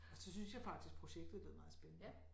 Og så syntes jeg faktisk projektet lød meget spændende